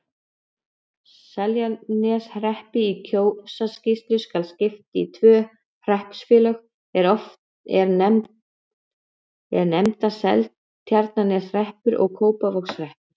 Seltjarnarneshreppi í Kjósarsýslu skal skipt í tvö hreppsfélög, er nefnast Seltjarnarneshreppur og Kópavogshreppur.